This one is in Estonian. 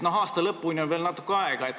Aasta lõpuni on aga veel natuke aega.